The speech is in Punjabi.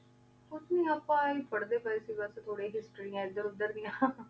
ਕੁਛ ਨਾਈ ਆਪਾਂ ਈਵੇ ਈ ਪਾਰ੍ਹ੍ਡੇ ਪੇ ਸੀ ਬਾਸ ਕੋਈ ਨਾਈ ਹਿਸ੍ਤ੍ਰਿਯਾਂ ਏਡ੍ਰ ਉਧਰ ਡਿਯਨ ਆਚਾ ਆਚਾ ਹਾਂਜੀ ਜਿਦਾਂ ਹੇਸ੍ਤੀਆਂ ਦੇ ਹੈਂ ਨਾ ਸੁਨ੍ਯ